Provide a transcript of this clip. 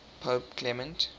pope clement